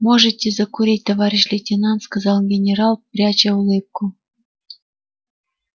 можете закурить товарищ лейтенант сказал генерал пряча улыбку